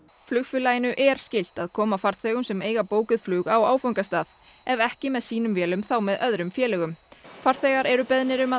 flugfélaginu er skylt að koma farþegum sem eiga bókuð flug á áfangastað ef ekki með sínum vélum þá með öðrum félögum farþegar eru beðnir um að